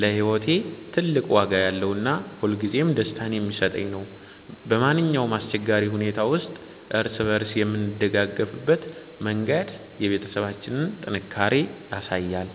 ለህይወቴ ትልቅ ዋጋ ያለውና ሁልጊዜም ደስታን የሚሰጠኝ ነው። በማንኛውም አስቸጋሪ ሁኔታ ውስጥ እርስ በእርስ የምንደጋገፍበት መንገድ የቤተሰባችንን ጥንካሬ ያሳያል።